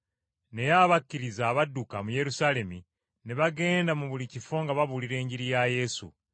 Naye abakkiriza abadduka mu Yerusaalemi ne bagenda mu buli kifo nga babuulira Enjiri ya Yesu.